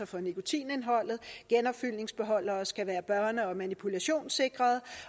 for nikotinindholdet genopfyldningsbeholdere skal være børne og manipulationssikrede